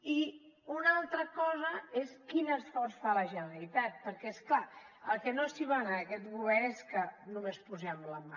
i una altra cosa és quin esforç fa la generalitat perquè és clar el que no s’hi val en aquest govern és que només posem la mà